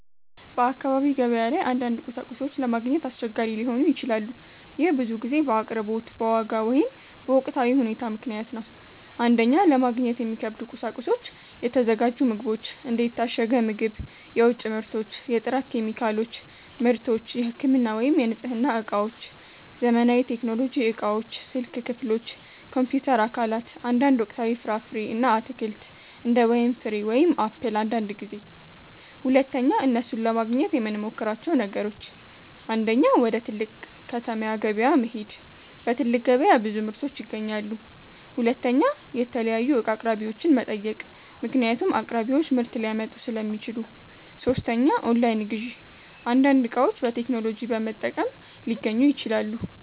በአካባቢ ገበያ ላይ አንዳንድ ቁሳቁሶች ለማግኘት አስቸጋሪ ሊሆኑ ይችላሉ። ይህ ብዙ ጊዜ በአቅርቦት፣ በዋጋ ወይም በወቅታዊ ሁኔታ ምክንያት ነው። 1) ለማግኘት የሚከብዱ ቁሳቁሶች የተዘጋጁ ምግቦች እንደ የታሸገ ምግብ፣ የውጭ ምርቶች የጥራት ኬሚካሎች / ምርቶች የህክምና ወይም የንጽህና እቃዎች ዘመናዊ ቴክኖሎጂ እቃዎች ስልክ ክፍሎች፣ ኮምፒውተር አካላት አንዳንድ ወቅታዊ ፍራፍሬ እና አትክልት እንደ ወይን ፍሬ ወይም አፕል አንዳንድ ጊዜ 2) እነሱን ለማግኘት የምመሞክራቸው ነገሮች 1. ወደ ትልቅ ከተማ ገበያ መሄድ በትልቅ ገበያ ብዙ ምርቶች ይገኛሉ 2. የተለያዩ እቃ አቅራቢዎችን መጠየቅ ምክንያቱም አቅራቢዎች ምርት ሊያመጡ ሥለሚችሉ 3. ኦንላይን ግዢ አንዳንድ እቃዎች በቴክኖሎጂ በመጠቀም ሊገኙ ይችላሉ